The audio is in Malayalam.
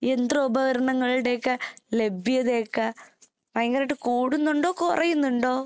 യന്ത്രോപകരണങ്ങളുടെയൊക്കെ ലഭ്യതയൊക്കെ ഭയങ്കരായിട്ട് കൂടുന്നുണ്ടോ കൊറയുന്നുണ്ടോ?